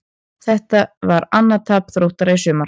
Þetta var annað tap Þróttara í sumar.